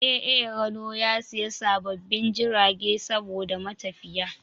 A A RANO ya siya sababbin jiragai saboda matafiya